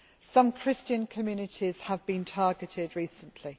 Some Christian communities have been targeted recently.